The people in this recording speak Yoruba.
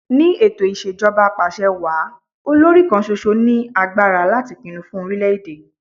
Ni ètò Ìṣèjọba Apàṣẹwàá, olòrì kan ṣoṣo ní agbára láti pinnu fun orílẹ̀ èdè.